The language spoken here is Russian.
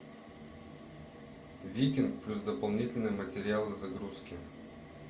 викинг плюс дополнительные материалы загрузки